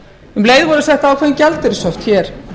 um leið og við settum ákveðin gjaldeyrishöft hér